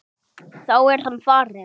Þá er hann farinn.